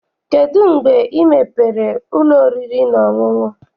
Kedụ mgbe ị mepere ụlọ oriri na ọṅụṅụ?